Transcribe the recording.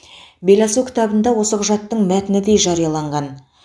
беласу кітабында осы құжаттың мәтіні де жарияланған